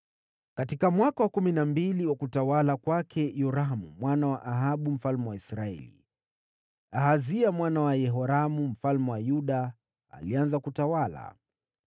Katika mwaka wa kumi na mbili wa utawala wa Yoramu mwana wa Ahabu mfalme wa Israeli, Ahazia mwana wa Yehoramu mfalme wa Yuda alianza kutawala.